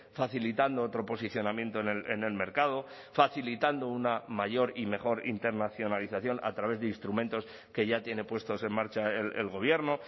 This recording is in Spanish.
facilitando otro posicionamiento en el mercado facilitando una mayor y mejor internacionalización a través de instrumentos que ya tiene puestos en marcha el gobierno